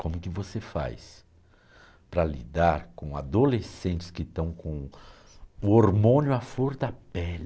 Como que você faz para lidar com adolescentes que estão com o hormônio à flor da pele?